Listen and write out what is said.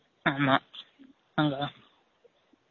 ஆமா அங்க தான்